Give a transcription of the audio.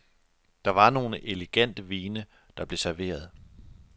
Det var nogle elegante vine, der blev serveret.